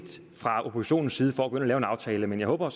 fra oppositionens side for at gå ind og lave en aftale men jeg håber at